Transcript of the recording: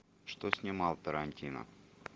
что снимал тарантино